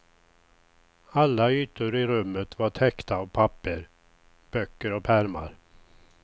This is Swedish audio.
Alla ytor i rummet var täckta av papper, böcker och pärmar.